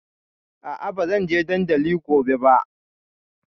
A'a, ba zan je dandali gobe ba.